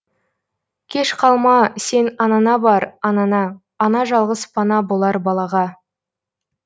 кеш қалма сен анаңа бар анаңа ана жалғыз пана болар балаға